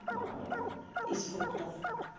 из фруктов